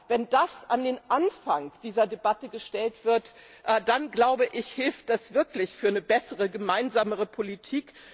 Wenn das an den Anfang dieser Debatte gestellt wird, dann hilft das wirklich für eine bessere, gemeinsamere Politik.